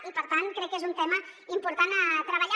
i per tant crec que és un tema important a treballar